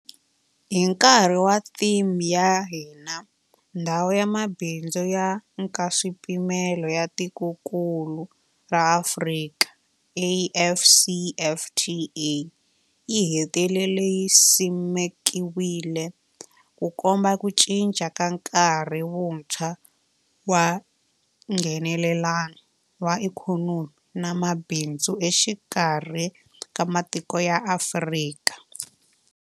Hi nkarhi wa theme ya hina, Ndhawu ya Mabindzu ya Nkaswipimelo ya Tikokulu ra Afrika AfCFTA yi hetelele yi simekiwile, Ku komba ku cinca ka nkarhi wuntshwa wa Nghenelelano wa ikhonomi na mabindzu exikarhi ka matiko ya Afrika.